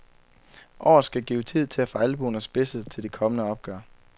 Året skal give tid til at få albuerne spidset til de kommende opgør.